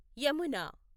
Yamuna